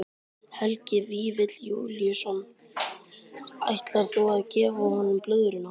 Helgi Vífill Júlíusson: Ætlar þú að gefa honum blöðruna þína?